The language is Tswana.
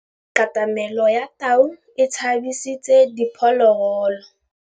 Katamêlô ya tau e tshabisitse diphôlôgôlô.